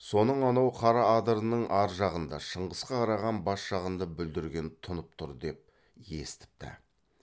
соның анау қара адырының ар жағында шыңғысқа қараған бас жағында бүлдірген тұнып тұр деп естіпті